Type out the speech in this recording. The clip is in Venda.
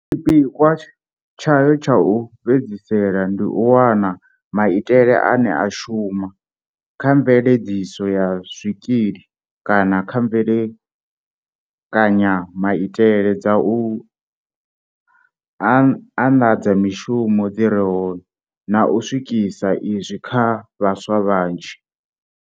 Tshipikwa tshayo tsha u fhedzisela ndi u wana maitele ane a shuma, kha mveledziso ya zwikili kana kha mbekanyamaitele dza u anḽadza mishumo dzi re hone, na u swikisa izwi kha vhaswa vhanzhi.